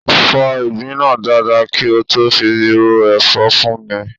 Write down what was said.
Fọ́ ìgbín náà dáadáa kí ó tó fi ro ẹ̀fọ́ fún mi.